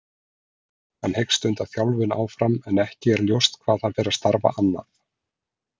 Hann hyggst stunda þjálfun áfram en ekki er ljóst hvað hann fer að starfa annað.